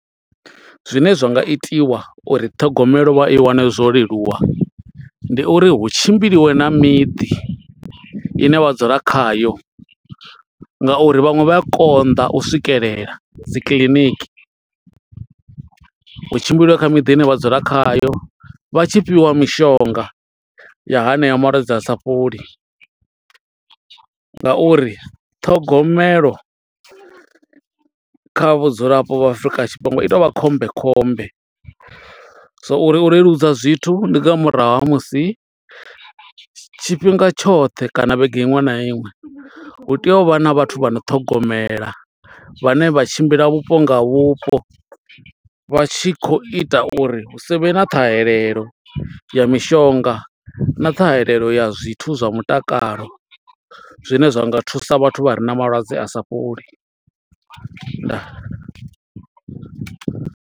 Zwine zwa nga itiwa uri ṱhogomelo vha i wane zwo leluwa, ndi uri hu tshimbiliwe na miḓi i ne vha dzula khayo. Nga uri vhaṅwe vha a konḓa u swikelela dzi kiḽiniki, hu tshimbiliwe kha miḓi i ne vha dzula khayo. Vha tshi fhiwa mishonga ya hanea malwadze a sa fholi, nga uri ṱhogomelo kha vhudzulapo Afrika Tshipembe i tea u vha khombe khombe. So uri u leludza zwithu, ndi nga murahu ha musi tshifhinga tshoṱhe kana vhege iṅwe na iṅwe, hu tea u vha na vhathu vha no ṱhogomela. Vhane vha tshimbila vhupo nga vhupo, vha tshi khou ita uri hu savhe na ṱhahelelo ya mishonga, na ṱhahelelo ya zwithu zwa mutakalo. Zwine zwa nga thusa vhathu vha re na malwadze a sa fholi. Ndaa.